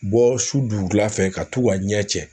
Bɔ su dugula fɛ ka t'u ka ɲɛ cɛ